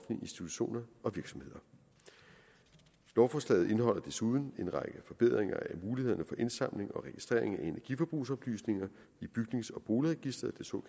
institutioner og virksomheder lovforslaget indeholder desuden en række forbedringer af mulighederne for indsamling og registrering af energiforbrugsoplysninger i bygnings og boligregistret